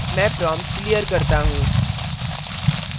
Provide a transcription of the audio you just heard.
मैं prompt clear करता हूँ